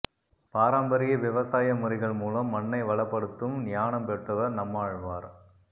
பாரம்பரிய விவசாய முறைகள் மூலம் மண்ணை வளப்படுத்தும் ஞானம் பெற்றவா் நம்மாழ்வாா்